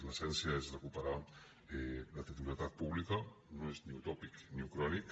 l’essència és recuperar la titularitat pública no és ni utòpic ni ucrònic